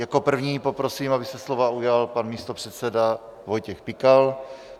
Jako prvního poprosím, aby se slova ujal pan místopředseda Vojtěch Pikal.